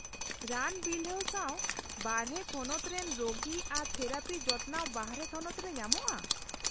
-ᱨᱟᱱ ᱵᱤᱞᱦᱟᱹᱣ ᱥᱟᱶ ᱵᱟᱨᱦᱮ ᱛᱷᱚᱱᱚᱛ ᱨᱮᱱ ᱨᱳᱜᱤ ᱟᱨ ᱛᱷᱮᱨᱟᱯᱤ ᱡᱚᱛᱚᱱᱟᱣ ᱵᱟᱨᱦᱮ ᱛᱷᱚᱱᱚᱛᱨᱮ ᱧᱟᱢᱚᱜᱼᱟ?